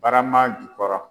Barama jukɔrɔ